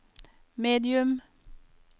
medium